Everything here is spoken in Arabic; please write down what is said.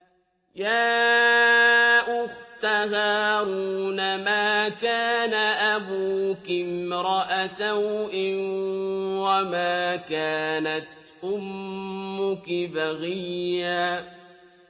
يَا أُخْتَ هَارُونَ مَا كَانَ أَبُوكِ امْرَأَ سَوْءٍ وَمَا كَانَتْ أُمُّكِ بَغِيًّا